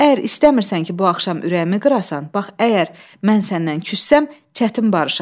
Əgər istəmirsən ki, bu axşam ürəyimi qırasan, bax əgər mən səndən küssəm, çətin barışam.